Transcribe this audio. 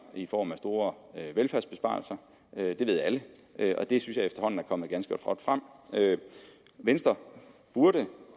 i form af store velfærdsbesparelser det ved alle og det synes jeg efterhånden er kommet ganske godt frem venstre burde